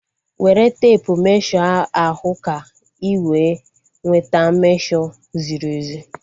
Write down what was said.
Were teepu mmesho ahu ka ị wee nweta mmesho ziri ezi